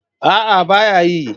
A'a baya yi.